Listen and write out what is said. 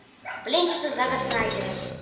пленница зака снайдера